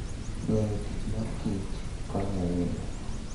Ng'eyo tich mar kich konyo ahinya.